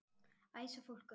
Æsa fólk upp?